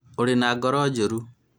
ũrĩ na ngoro njũru